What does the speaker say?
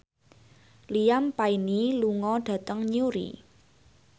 Liam Payne lunga dhateng Newry